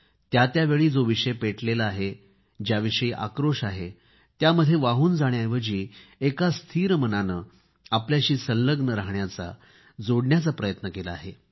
त्या त्यावेळी जो विषय पेटलेला आहे ज्याविषयी आक्रोश आहे त्यामध्ये वाहून जाण्याऐवजी एका स्थिर मनाने आपल्याशी संलग्न राहण्याचा जोडण्याचा प्रयत्न केला आहे